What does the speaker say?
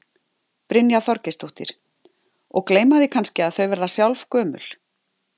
Brynja Þorgeirsdóttir: Og gleyma því kannski að þau verða sjálf gömul?